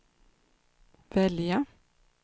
välja